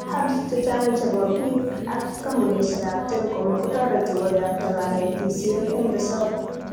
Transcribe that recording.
Hubs checha'ng chebo biik ak kampunisiekab telecom kotoreti koyapta konetisiet eng risoob